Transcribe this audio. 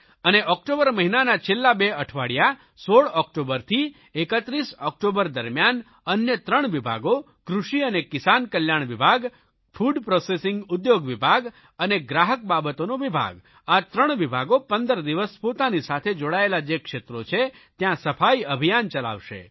અને ઓકટોબર મહિનાના છેલ્લા બે અઠવાડિયા 16 ઓકટોબરથી 31 ઓકટોબર દરમિયાન અન્ય ત્રણ વિભાગો કૃષિ અને કિસાન કલ્યાણ વિભાગ ફૂડ પ્રોસેસિંગ ઉદ્યોગ વિભાગ અને ગ્રાહક બાબતોનો વિભાગ આ ત્રણ વિભાગો 15 દિવસ પોતાની સાથે જોડાયેલા જે ક્ષેત્રો છે ત્યાં સફાઇ અભિયાન ચલાવશે